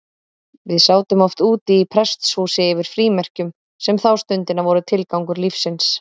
Við sátum oft úti í prestshúsi yfir frímerkjum, sem þá stundina voru tilgangur lífsins.